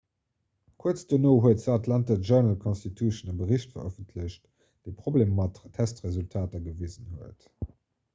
kuerz dono huet the atlanta journal-constitution e bericht verëffentlecht dee problemer mat testresultater gewisen huet